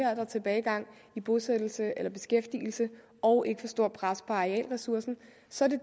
er der tilbagegang i bosættelse eller beskæftigelse og ikke for stort et pres på arealressourcerne så